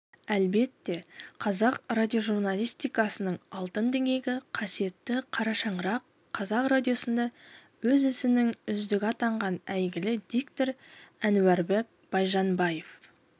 әлбетте қазақ радиожурналистикасының алтын діңгегі қасиетті қара шаңырақ қазақ радиосында өз ісінің үздігі атанған әйгілі диктор әнуарбек байжанбаев